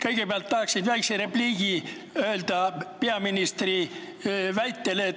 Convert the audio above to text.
Kõigepealt tahan öelda väikse repliigi peaministri väite kohta.